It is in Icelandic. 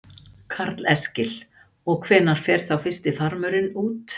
Karl Eskil: Og hvenær fer þá fyrsti farmurinn út?